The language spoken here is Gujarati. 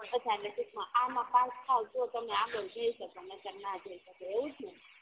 ટુંકમાં આમાં પાસ થાવ તો તમે આગડ જઈ શકો નકર ના જઈ શકો એવુજ ને